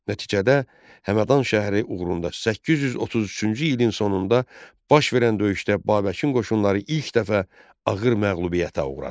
Nəticədə Həmədan şəhəri uğrunda 833-cü ilin sonunda baş verən döyüşdə Babəkin qoşunları ilk dəfə ağır məğlubiyyətə uğradı.